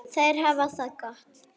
Þær hafa það gott.